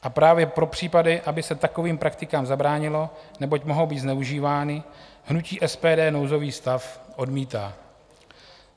A právě pro případy, aby se takovým praktikám zabránilo, neboť mohou být zneužívány, hnutí SPD nouzový stav odmítá.